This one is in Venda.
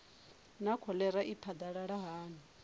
naa kholera i phadalala hani